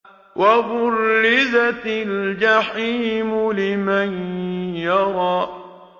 وَبُرِّزَتِ الْجَحِيمُ لِمَن يَرَىٰ